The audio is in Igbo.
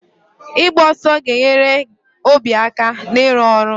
Ịgba ọsọ ga-enyere obi aka na-ịrụ ọrụ